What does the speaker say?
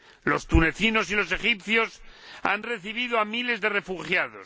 Los tunecinos y los egipcios han recibido a miles de refugiados.